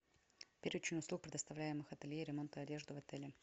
перечень услуг предоставляемых ателье ремонта одежды в отеле